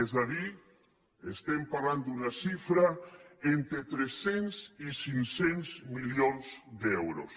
és a dir estem parlant d’una xifra d’entre tres cents i cinc cents milions d’euros